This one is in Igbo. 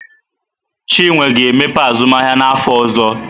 Chinwe ga-emepe azụmahịa n'afọ ọzọ.